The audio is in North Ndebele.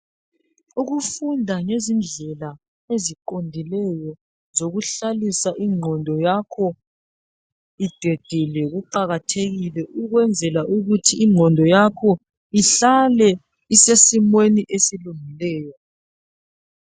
Ukufunda ngezindlela eziqondileyo zokuhlalisa ingqondo yakho idedile kuqakathekile ukwenzela ukuthi ingqondo yakho ihlale isesimeni esilungileyo.